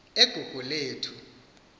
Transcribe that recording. egugulethu